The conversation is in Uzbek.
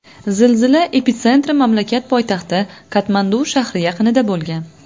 Zilzila epitsentri mamlakat poytaxti Katmandu shahri yaqinida bo‘lgan.